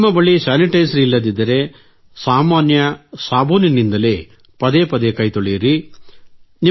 ನಿಮ್ಮ ಬಳಿ ಸ್ಯಾನಿಟೈಸರ್ ಇಲ್ಲದಿದ್ದರೆ ಸಾಮಾನ್ಯ ಸಾಬೂನಿನಿಂದಲೇ ಪದೇ ಪದೇ ಕೈತೊಳೆಯಿರಿ